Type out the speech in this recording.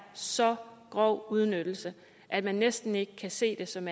så grov udnyttelse at man næsten ikke kan se det som